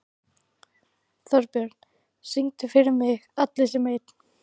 Þorbjörn, syngdu fyrir mig „Allir sem einn“.